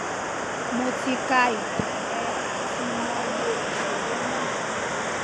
mo ti ka itan rẹ ati mo ye iṣoro naa